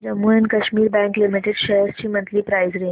Jammu and Kashmir bank limited shares ची monthly price range